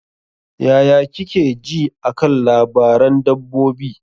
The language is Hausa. Yaya kike ji a kan labaran dabbobi?